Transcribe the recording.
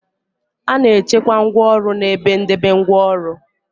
A na-echekwa ngwaọrụ n' ebe ndebe ngwaọrụ.